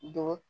Don